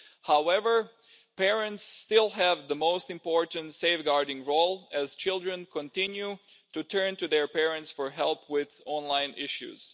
However, parents still have the most important safeguarding role as children continue to turn to their parents for help with online issues.